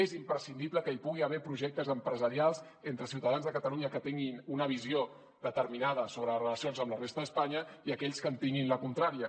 és imprescindible que hi pugui haver projectes empresarials entre ciutadans de catalunya que tinguin una visió determinada sobre les relacions amb la resta d’espanya i aquells que en tinguin la contrària